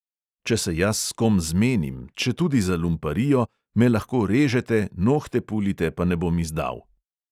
Če se jaz s kom zmenim, četudi za lumparijo, me lahko režete, nohte pulite, pa ne bom izdal.